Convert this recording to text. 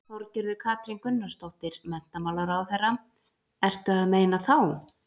Þorgerður Katrín Gunnarsdóttir, menntamálaráðherra: Ertu að meina þá?